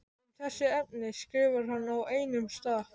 Um þessi efni skrifar hann á einum stað